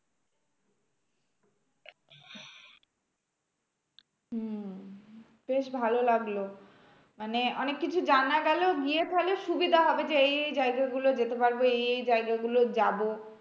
হম বেশ ভালো লাগলো। মানে অনেককিছু জানা গেলো গিয়ে তাহলে সুবিধা হবে যে, এই এই জায়গাগুলো যেতে হবে। এই এই জায়গাগুলো যাবো।